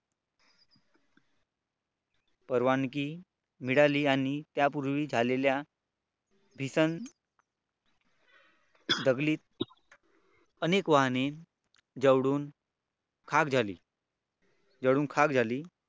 परवानगी मिळाली आणि त्यापूर्वी झालेल्या भीषण दंगलीत अनेक वाहने जळून खाक झाली जळून खाक झाली.